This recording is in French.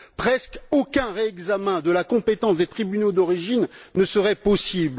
Presque aucun réexamen de la compétence des tribunaux d'origine ne serait possible.